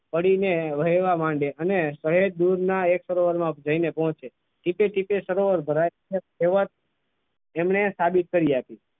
પડીને વહેવા માંડે અને સહેજ દૂરના એક સરોવરમાં જઈને પહોંચે સરોવર ભરાય એ વાત એમની સાબિત કરી આપી.